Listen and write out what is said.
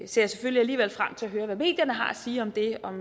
selvfølgelig alligevel frem til at høre hvad medierne har at sige om det om